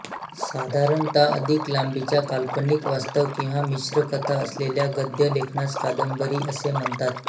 साधारणत अधिक लांबीच्या काल्पनिक वास्तव किंवा मिश्र कथा असलेल्या गद्य लेखनास कादंबरी असे म्हणतात